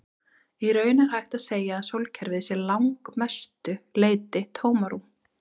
Í raun er hægt að segja að sólkerfið sé að langmestu leyti tómarúm.